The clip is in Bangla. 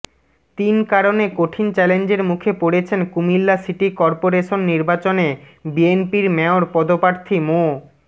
তিন কারণে কঠিন চ্যালেঞ্জের মুখে পড়েছেন কুমিল্লা সিটি করপোরেশন নির্বাচনে বিএনপির মেয়র পদপ্রার্থী মো